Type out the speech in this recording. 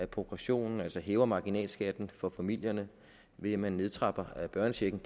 progressionen altså hæver marginalskatten for familierne ved at man nedtrapper børnechecken